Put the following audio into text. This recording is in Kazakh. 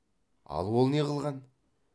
ал ол не қылған